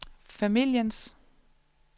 familiens